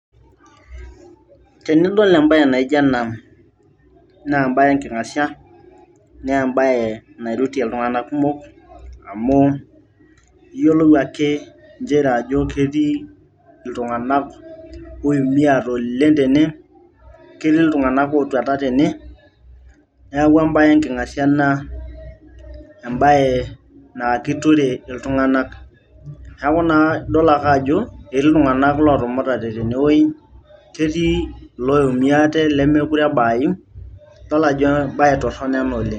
tenidol embaye naijo ena naa embaye enking'asia naa embaye nairutie iltung'anak kumok amu iyiolou ake inchere ajo ketii iltung'anak oiumiate oleng tene ketii iltung'anak otuata tene neeku embaye enking'asia ena embaye naa kiture iltung'anak neeku naa idol ake ajo etii iltung'anak otumutaye tenewoji ketii iloiumiate lemekure ebaayu idol ajo embaye torrono ena oleng.